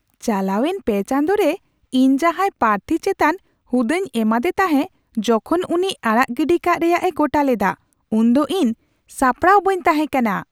ᱪᱟᱞᱟᱣᱮᱱ ᱯᱮ ᱪᱟᱸᱫᱳ ᱨᱮ ᱤᱧ ᱡᱟᱦᱟᱸᱭ ᱯᱟᱨᱛᱷᱤ ᱪᱮᱛᱟᱱ ᱦᱩᱫᱟᱹᱧ ᱮᱢᱟᱫᱮ ᱛᱟᱦᱮᱸ ᱡᱚᱠᱷᱚᱱ ᱩᱱᱤ ᱟᱲᱟᱜ ᱜᱤᱰᱤ ᱠᱟᱜ ᱨᱮᱭᱟᱜ ᱮ ᱜᱚᱴᱟ ᱞᱮᱫᱟ, ᱩᱱᱫᱚ ᱤᱧ ᱥᱟᱯᱲᱟᱣ ᱵᱟᱹᱧ ᱛᱟᱦᱮᱸ ᱠᱟᱱᱟ ᱾